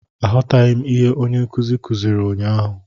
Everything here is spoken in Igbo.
Aghọtaghị m ihe onye nkuzi kuziri ụnyahụ